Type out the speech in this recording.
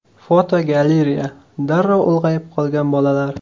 Fotogalereya: Darrov ulg‘ayib qolgan bolalar.